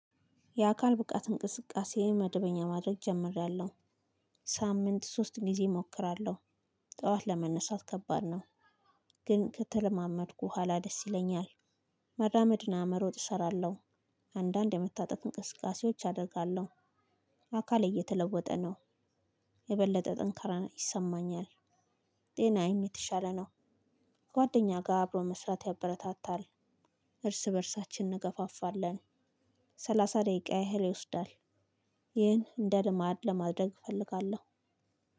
የአካል ብቃት እንቅስቃሴ መደበኛ ማድረግ ጀምሬያለሁ ሳምንት ሶስት ጊዜ እሞክራለሁ ጠዋት ለመነሳት ከባድ ነው። ግን ከተለማመድኩ በኋላ ደስ ይለኛል። መራመድ እና መሮጥ እሰራለሁ። አንዳንድ የመታጠፍ እንቅስቃሴዎች አደርጋለሁ። አካል እየተለወጠ ነው። የበለጠ ጥንካሬ ይሰማኛል። ጤናዬም የተሻለ ነው። ጓደኛ ጋር አብሮ መስራት ያበረታታል። እርስ በእርሳችን እንገፋፋለን። ሰላሳ ደይቃ ያህል ይወስዳል። ይህን እንደ ልማድ ማድረ እፈልጋለሁ።